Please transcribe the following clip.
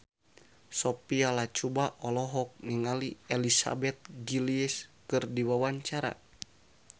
Sophia Latjuba olohok ningali Elizabeth Gillies keur diwawancara